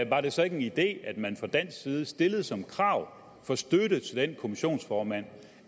var det så ikke en idé at man fra dansk side stillede som krav for støtte til den kommissionsformand